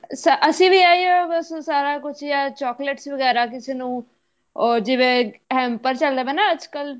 ਅਸੀਂ ਵੀ ਇਹੋ ਬੱਸ ਸਾਰਾ ਕੁੱਝ ਆ ਹੀ chocolates ਵਗੈਰਾ ਕਿਸੇ ਨੂੰ or ਜਿਵੇਂ hamper ਚੱਲਦੇ ਪਏ ਏ ਅੱਜਕਲ